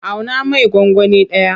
Auna mai gwangwani ɗaya.